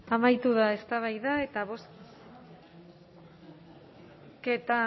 amaitu da eztabaida eta bozketa